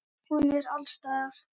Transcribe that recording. Hún er alls staðar.